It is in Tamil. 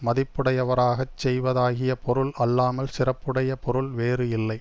மதிப்புடையவராகச் செய்வதாகிய பொருள் அல்லாமல் சிறப்புடைய பொருள் வேறு இல்லை